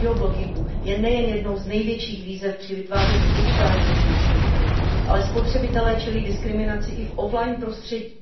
geoblockingu je nejen jednou z největších výzev při vytváření digitálního vnitřního trhu, ale spotřebitelé čelí diskriminaci i v off line prostředí.